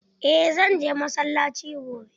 Eh zan je masallaci gobe.